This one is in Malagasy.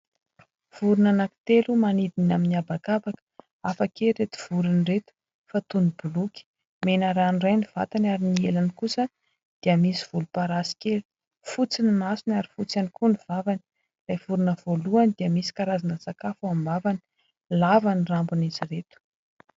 Vorona anankitelo manidina amin'ny habakabaka. Hafa kely ireto vorona ireto fa toy ny boloky. Mena ranoiray ny vatany ary ny elany kosa dia misy volomparasy kely. Fotsy ny masony ary fotsy ihany koa ny vavany. Ilay vorona voalohany dia misy karazan-tsakafo ny ao am-bavany. Lava ny rambon'izy ireto.